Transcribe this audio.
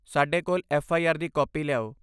ਸਾਡੇ ਕੋਲ ਐਫ.ਆਈ.ਆਰ. ਦੀ ਕਾਪੀ ਲਿਆਓ।